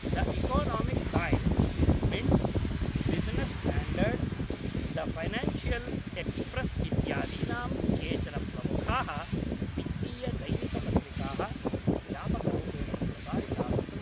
The Economic Times, Mint, Business Standard, the Financial Express इत्यादिनां केचन प्रमुखाः वित्तीयदैनिकपत्रिकाः व्यापकरूपेण प्रसारिताः सन्ति।